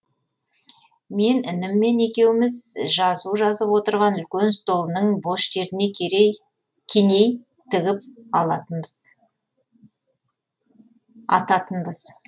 мен ініммен екеуміз жазу жазып отырған үлкен столының бос жеріне кеней тігіп ататынбыз